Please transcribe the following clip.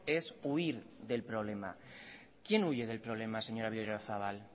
es huir del problema quién huye del problema señora berriozabal